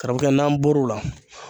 Karamɔgɔkɛ n'an bɔr'o la